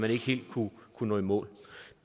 man ikke helt kunne nå i mål